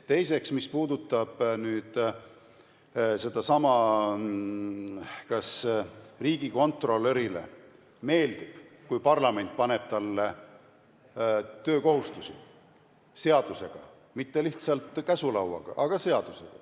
Teiseks, mis puudutab nüüd sedasama, kas riigikontrolörile meeldib, kui parlament paneb talle töökohustusi, ja mitte lihtsalt käsulauaga, vaid seadusega.